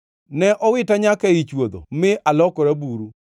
Ne owita nyaka ei chwodho, mi alokora buru.